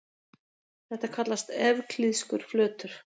Þetta kallast evklíðskur flötur.